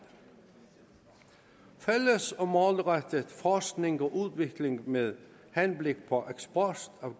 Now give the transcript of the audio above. fælles og målrettet forskning og udvikling med henblik på eksport af